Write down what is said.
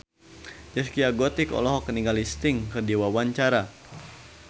Zaskia Gotik olohok ningali Sting keur diwawancara